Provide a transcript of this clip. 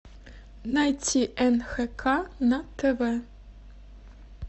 найти нхк на тв